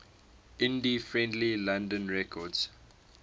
indie friendly london records